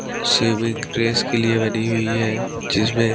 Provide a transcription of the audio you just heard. swimming race के लिए बनी हुई है जिसमें--